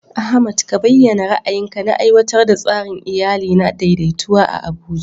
Ahmad ka bayyana ra'ayinka na aiwatar da tsarin iyali na daidaitawa a Abuja.